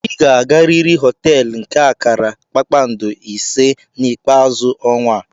Ị ga-agarịrị họteelu nke akara kpakpando ise na ikpeazu ọnwa a.